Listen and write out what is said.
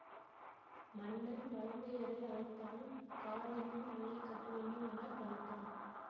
மன்னன் வலங்கையரை அழைத்தான் காவிரியின் அணையை கட்டவேண்டும் என பணித்தான்